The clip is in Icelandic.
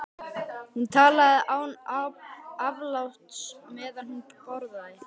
Hún talaði án afláts meðan hún borðaði.